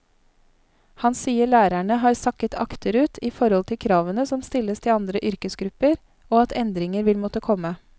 Han sier lærerne har sakket akterut i forhold til kravene som stilles til andre yrkesgrupper, og at endringer vil måtte komme.